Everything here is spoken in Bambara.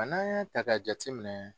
Nka n'a y'a ta ka jateminɛ.